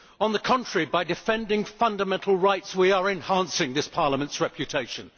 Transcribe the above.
On the contrary, by defending fundamental rights, we are enhancing this Parliament's reputation.